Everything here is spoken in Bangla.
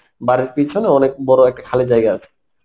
বাড়ির পিছনে অনেক বড় একটা খালি জায়গা আছে